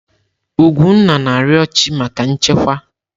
Ugwunna na-arịọ chị́ maka nchekwa.